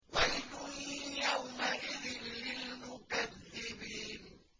وَيْلٌ يَوْمَئِذٍ لِّلْمُكَذِّبِينَ